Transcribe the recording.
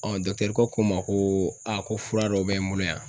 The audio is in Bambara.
kɛ ko ma koo ko fura dɔ bɛ n bolo yan